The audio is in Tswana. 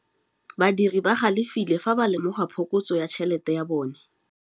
Badiri ba galefile fa ba lemoga phokotsô ya tšhelête ya bone.